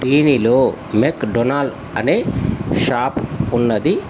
టీ_వీలో McDonald అనే shop ఉన్నది.